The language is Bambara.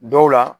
Dɔw la